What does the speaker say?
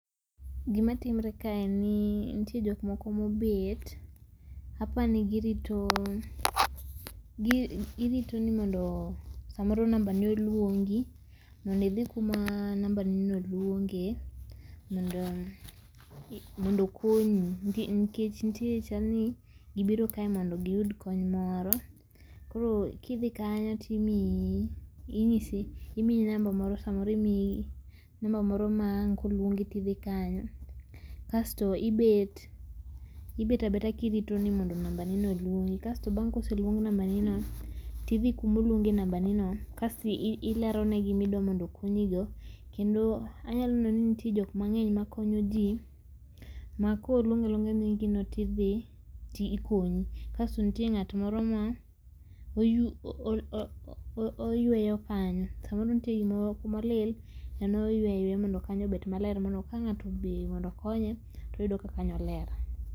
Gima timore ka en ni nitie jok moko mobet apani girito, girito ni mondo samoro nambane oluongi mondi idhi kuma nambanino oluonge mondo okonyi nikech nitie chal ni gibiro kae mondo giyud kony moro koro kidhi kanyo timiyi inyisi imiyi namba moro samoro imiyi namba moro maang' koluongi tidhi kanyo kasto ibet, ibet abeta kirito ni mondo nambanino oluongi kasto bang'e koseluong nambanino tidhi kumoluonge nambanino kasto ilero ne gimidwa mondo okonyigo kendo anyalo neno nitie jok mang'eny ma konyoji ma koluong aluongo nyingino tidhi ti ikonyi. Kasto nitie ng'at moro ma oyu oo oyueyo kanyo samoro nitie kumo lil en moyueyo mondo kanyo obed maler mondo ka ng'ato odhi mondo okonye toyudo ka kanyo ler.